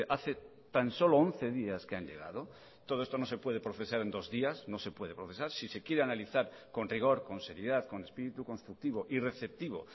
hace tan solo once días que han llegado todo esto no se puede procesar en dos días no se puede procesar si se quiere analizar con rigor con seriedad con espíritu constructivo y receptivo